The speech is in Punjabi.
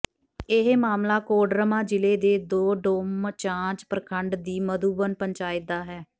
ਇਹ ਮਾਮਲਾ ਕੋਡਰਮਾ ਜ਼ਿਲੇ ਦੇ ਡੋਮਚਾਂਚ ਪ੍ਰਖੰਡ ਦੀ ਮਧੂਬਨ ਪੰਚਾਇਤ ਦਾ ਹੈ